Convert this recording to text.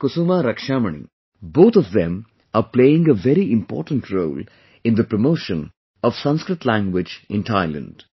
Kusuma Rakshamani, both of them are playing a very important role in the promotion of Sanskrit language in Thailand